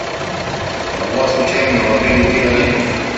а у вас случайно в отеле тира нету